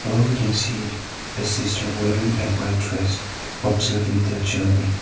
here we can see a sister wearing a white dress observing the children.